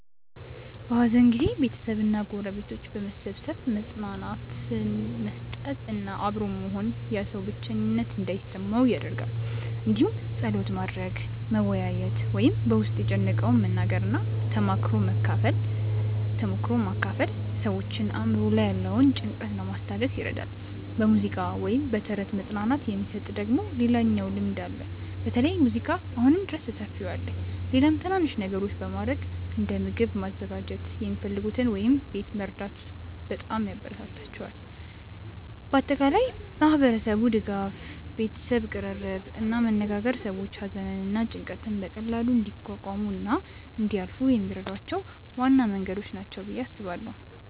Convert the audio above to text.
በሐዘን ጊዜ ቤተሰብ እና ጎረቤቶች በመሰብሰብ መጽናናት መስጠት እና አብሮ መሆን ያ ሰው ብቸኝነት እንዳይሰማው ይደረጋል እንዲሁም ጸሎት ማድረግ፣ መወያየት ወይም በ ውስጥን የጨነቀውን መናገር እና ተሞክሮ መካፈል ሰዎችን አእምሮ ላይ ያለውን ጭንቀት ለማስታገስ ይረዳል። በሙዚቃ ወይም በተረት መጽናናት የሚሰጥ ደግሞ ሌላኛው ልምድ አለ በተለይ ሙዚቃ አሁንም ድረስ በሰፊው አለ። ሌላም ትናናንሽ ነገሮች በማረግ እንደ ምግብ ማዘጋጀት የሚፈልጉትን ወይም ቤት መርዳት በጣም ያበራታታቸዋል። በአጠቃላይ ማህበረሰቡ ድጋፍ፣ ቤተሰብ ቅርርብ እና መነጋገር ሰዎች ሐዘንን እና ጭንቀትን በቀላሉ እንዲቋቋሙ እና እንዲያልፏ የሚረዷቸው ዋና መንገዶች ናቸው ብዬ አስባለው።